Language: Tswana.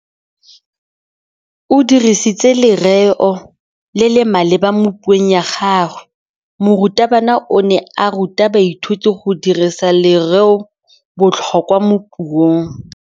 O dirisitse lerêo le le maleba mo puông ya gagwe. Morutabana o ne a ruta baithuti go dirisa lêrêôbotlhôkwa mo puong.